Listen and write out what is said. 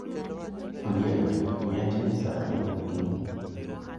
Ondiek, miya chai sa ariyo okinyi